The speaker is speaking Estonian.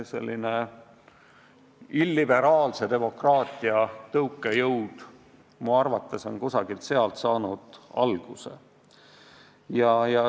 Selline illiberaalse demokraatia tõukejõud on minu arvates kusagilt sealt alguse saanud.